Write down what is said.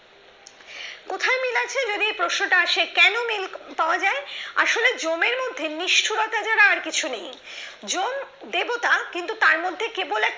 কোথায় মিল আছে যদি প্রশ্নটা আছে কেন মিল পাওয়া যায় আসলে জমের মধ্যে নিষ্ঠুরতা ছাড়া আর কিছু নেই জম দেবতা কিন্তু তার মধ্যে কেবল এক